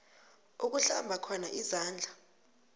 uhlamba khona izandla